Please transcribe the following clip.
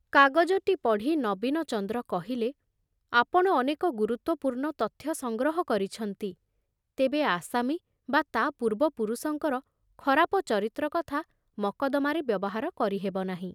କାଗଜଟି ପଢ଼ି ନୀବନଚନ୍ଦ୍ର କହିଲେ, ଆପଣ ଅନେକ ଗୁରୁତ୍ଵପୂର୍ଣ୍ଣ ତଥ୍ୟ ସଂଗ୍ରହ କରିଛନ୍ତି; ତେବେ ଆସାମୀ ବା ତା ପୂର୍ବ ପୁରୁଷଙ୍କର ଖରାପ ଚରିତ୍ର କଥା ମକଦ୍ଦମାରେ ବ୍ୟବହାର କରିହେବ ନାହିଁ।